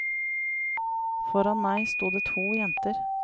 Foran meg stod det to jenter.